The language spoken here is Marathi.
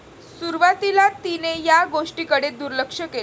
सुरुवातीला तिने या गोष्टीकडे दुर्लक्ष केले.